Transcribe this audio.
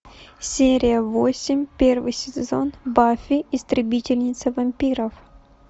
серия восемь первый сезон баффи истребительница вампиров